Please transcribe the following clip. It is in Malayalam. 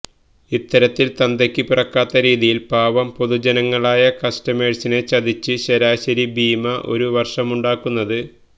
ഇത്തരത്തിൽ തന്തയ്ക്ക് പിറക്കാത്ത രീതിയിൽ പാവം പൊതുജനങ്ങളായ കസ്റ്റമേഴ്സിനെ ചതിച്ച് ശരാശരി ഭീമ ഒരു വർഷമുണ്ടാക്കുന്നത്